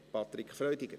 Patrick Freudiger.